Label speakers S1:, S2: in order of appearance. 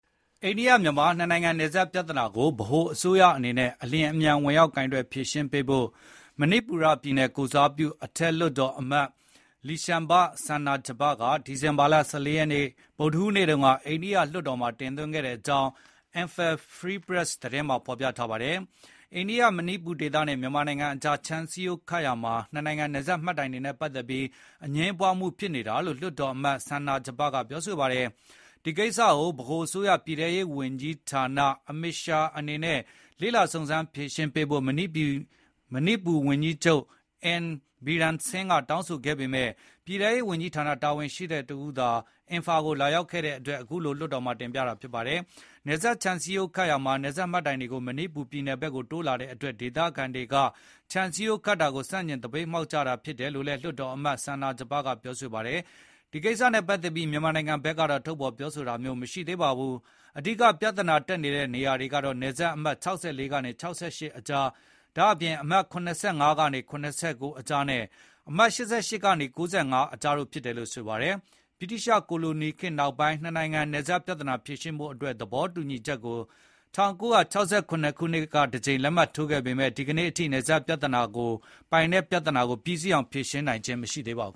S1: အိန္ဒိယမြန်မာ နှစ်နိုင်ငံနယ်စပ်ပြဿနာကို ဗဟိုအစိုးရအနေနဲ့ အလျင်အမြန်ဝင်ရောက်ကိုင်တွယ်ဖြေရှင်းပေးဖို့ မဏိပူရ ပြည်နယ်ကိုယ်စားပြု အထက်လွှတ်တော်အမတ် Leishemba Sanajaoba က ဒီဇင်ဘာလ ၁၄ ရက်နေ့ ဗုဒ္ဓဟူးနေ့က အိန္ဒိယလွှတ်တော်မှာတင်သွင်းခဲ့ကြောင်း Emphal Free Press သတင်းမှာဖေါ်ပြထားပါတယ်။ အိန္ဒိယ-မဏိပူဒေသနဲ့ မြန်မာနိုင်ငံအကြား ခြံစည်းရိုးခတ်ရာမှာ နှစ်နိုင်ငံနယ်စပ်မှတ်တိုင်တွေနဲ့ပတ်သက်ပြီး အငြင်းပွားမှုဖြစ်နေတာလို့ လွှတ်တော်အမတ် Sanajaoba ကပြောဆိုပါတယ်။ ဒီကိစ္စကို ဗဟိုအစိုးရ ပြည်ထဲရေးဝန်ကြီး Amit Shah အနေနဲ့ လေ့လာစုံစမ်းဖြေရှင်းပေးဖို့ မဏိပူပြည်နယ်ဝန်ကြီးချုပ် N Biren Singh ကတောင်းဆိုခဲ့ပေမဲ့ ပြည်ထဲရေးဝန်ကြီးဌာန တာဝန်ရှိသူတဦးသာ အင်ဖာကိုလာရောက်ခဲ့တဲ့အတွက် အခုလို လွှတ်တော်မှာထပ်မံတင်ပြတာဖြစ်ပါတယ်။ နယ်စပ်ခြံစည်းရိုးခတ်ရာမှာ နယ်စပ်မှတ်တိုင်တွေကို မဏိပူပြည်နယ်ဘက်ကိုတိုးလာတဲ့အတွက် ဒေသခံတွေက ခြံစည်းရိုးခတ်တာကို ဆန့်ကျင်သပိတ်မှောက်ကြတာဖြစ်တယ်လို့လည်း လွှတ်တော်အမတ် Sanajaoba ကပြောဆို ပါတယ်။ ဒီကိစ္စနဲ့ပတ်သက်ပြီးမြန်မာနိုင်ငံဘက်တော့ ထုတ်ဖေါ်ပြောဆိုတာမျိုးမရှိသေးပါဘူး။ အဓိက ပြဿနာတက်နေတဲ့နေရာတွေကတော့ နယ်စပ်အမှတ် ၆၄ ကနေ ၆၈ ကြား ဒါ့အပြင် အမှတ် ၇၅ ကနေ ၇၉ ကြားနဲ့ အမှတ် ၈၈ ကနေ ၉၅ ကြားတို့ဖြစ်တယ်လို့ဆိုပါတယ်။ ဗြိတိသျှ ကိုလိုနီခေတ်နောက်ပိုင်း နှစ်နိုင်ငံနယ်စပ် ပြဿနာဖြေရှင်းဖို့သဘောတူညီချက်ကို ၁၉၆၇ နှစ်က တကြိမ်လက်မှတ်ထိုးခဲ့ပေမဲ့ ဒီကနေ့အထိ နယ်စပ် ပိုင်နက်ပြဿနာကို ပြီးစီးအောင်ဖြေရှင်းနိုင်ခြင်းမရှိသေးပါဘူ